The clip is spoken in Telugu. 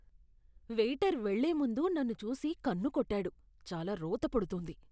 వెయిటర్ వెళ్ళే ముందు నన్ను చూసి కన్ను కొట్టాడు. చాలా రోత పుడుతుంది.